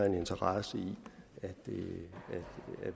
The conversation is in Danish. en interesse